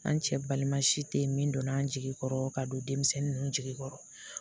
An cɛ balima si te yen min donna an jigi kɔrɔ ka don denmisɛnnin ninnu jigi kɔrɔ